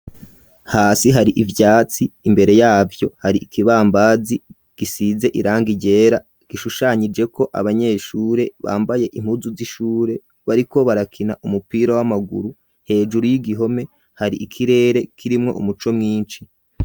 hasi hari ivyatsi imbere yavyo hari ikibambazi gisize iranga ryera gishushanyijeko abanyeshure bambaye impuzu z'ishure bariko barakina umupira w'amaguru hejuru y'igihome hari ikirere kirimwo umuco mwinshi.